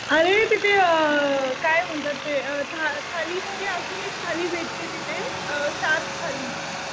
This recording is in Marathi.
अरे तिथे काय म्हणतात ते थाली मध्ये अजून एक थाली भेटते तिथे शार्क थाली.